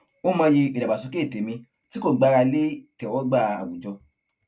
ó mọyì ìdàgbàsókè tèmí tí kò gbára lé ìtẹwógbà àwùjọ